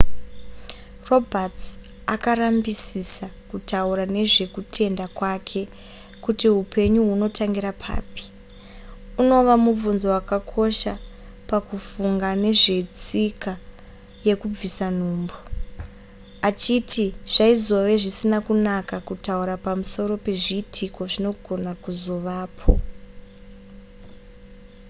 roberts akarambisisa kutaura nezvekutenda kwake kuti hupenyu hunotangira papi unova mubvunzo wakakosha pakufunga nezvetsika yekubvisa nhumbu achiti zvaizove zvisina kunaka kutaura pamusoro pezviitiko zvinogona kuzovapo